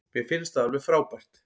Mér finnst það alveg frábært.